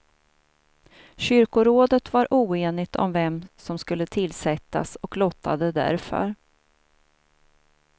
Kyrkorådet var oenigt om vem som skulle tillsättas, och lottade därför.